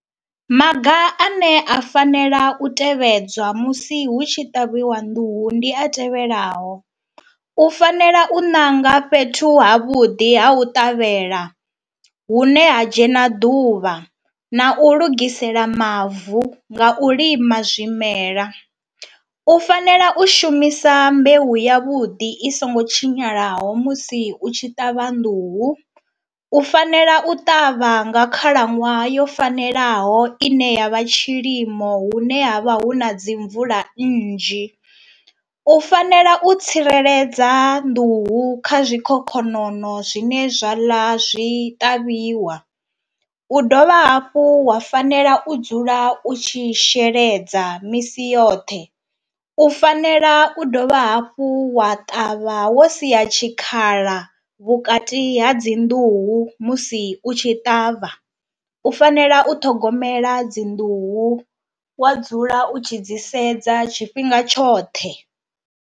Maga ane a fanela u tevhedzwa musi hu tshi ṱavhiwa nḓuhu ndi a tevhelaho, u fanela u ṋanga fhethu ha vhuḓi ha u ṱavhela hune ha dzhena ḓuvha na u lugisela mavu nga u lima zwimela, u fanela u shumisa mbeu ya vhuḓi i songo tshinyalaho musi u tshi ṱavha nḓuhu, u fanela u ṱavha nga khalaṅwaha yo fanelaho ine yavha tshilimo hune ha vha hu na dzi mvula nnzhi, u fanela u tsireledza nḓuhu kha zwikhokhonono zwine zwa ḽa zwi ṱavhiwa, u dovha hafhu wa fanela u dzula u tshi sheledza misi yoṱhe, u fanela u dovha hafhu wa ṱavha wo sia tshikhala vhukati ha dzi nḓuhu musi u tshi ṱavha, u fanela u ṱhogomela dzi nḓuhu wa dzula u tshi dzi sedza tshifhinga tshoṱhe.